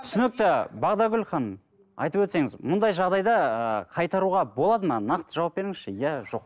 түсінікті бағдаргүл ханым айтып өтсеңіз мұндай жағдайда ыыы қайтаруға болады ма нақты жауап беріңізші иә жоқ